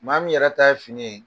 Maa min yɛrɛ ta ye fini ye